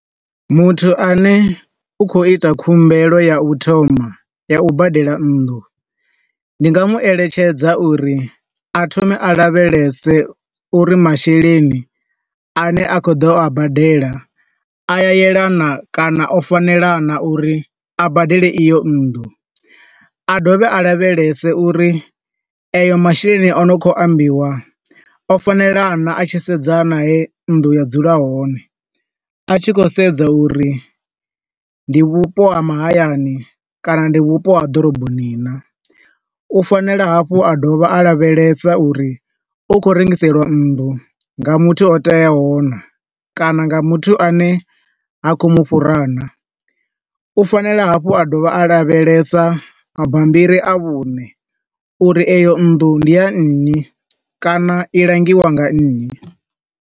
Muthu ane u khou ita khumbelo ya u thoma ya u badela nnḓu, ndi nga mu eletshedza uri a thome a lavhelese uri masheleni a ne a kho ḓo a badela a yelana kana o fanela naa uri a badele iyo nnḓu, a dovhe a lavhelese uri a yo masheleni ane a khou ambiwa o fanelana a tshi sedza na he nnḓu ya dzula hone. A tshi khou sedza uri ndi vhupo ha mahayani kana ndi vhupo ha ḓoroboni naa, u fanela hafhu u dovha a lavhelesa uri u khou rengiseliwa nnḓu nga muthu o teaho naa, kana nga muthu a ne ha khou mufhura naa. U fanela hafhu a dovha a lavhelesa mabambiri a vhuṋe uri eyo nnḓu ndi ya nnyi, kana i langiwa nga nnyi.